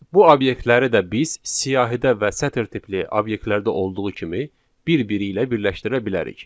Bu obyektləri də biz siyahıda və sətr tipli obyektlərdə olduğu kimi bir-biri ilə birləşdirə bilərik.